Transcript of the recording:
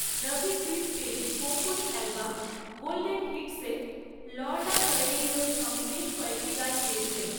Rafi Chris পেরির Konkani album golden হিটসে Lorna কর্ডেইরোর সঙ্গে বেশ কয়েকটি গান গেয়েছেন।